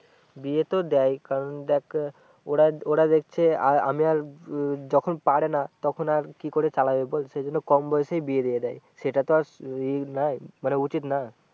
বিয়ে তো দেয় কারণ দেক ওরা ওরা দেখছে আমি আর যখন পারে না তখন আর কি করে চালাবে বল সেগুলো কম বয়সেই বিয়ে দিয়ে দেয় সেটা তো আর ই না মানে উচিত না